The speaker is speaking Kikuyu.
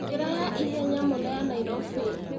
njĩra ya ihenya mũno ya nairobi